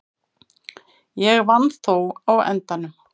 Ég vann þó á endanum.